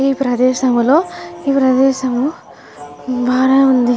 ఈ ప్రదేశంలో ఈ ప్రదేశం బానే వుంది.